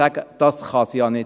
«Das kann es ja nicht sein.